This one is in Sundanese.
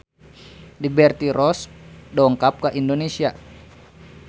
Liberty Ross dongkap ka Indonesia